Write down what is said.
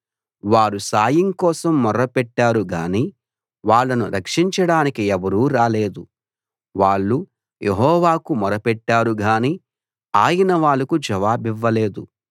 వారు సాయం కోసం మొరపెట్టారు గాని వాళ్ళను రక్షించడానికి ఎవరూ రాలేదు వాళ్ళు యెహోవాకు మొరపెట్టారు గాని ఆయన వాళ్లకు జవాబివ్వలేదు